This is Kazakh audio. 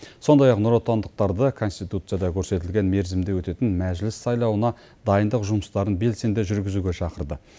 сондай ақ нұротандықтарды конституцияда көрсетілген мерзімде өтетін мәжіліс сайлауына дайындық жұмыстарын белсенді жүргізуге шақырды